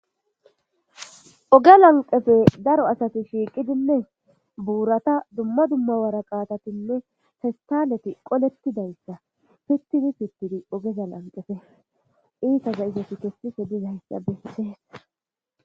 Oge lanqefe daro asati shiiqidinne buurata dumma dumma waraqaatatinne festaneti qolettidayssa pittini pittidi ogeza lanqefe iisaza isos kessise dizayssa beisees.